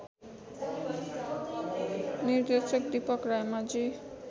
निर्देशक दीपक रायमाझी